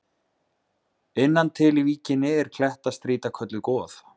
Innan til í víkinni er klettastrýta kölluð Goð.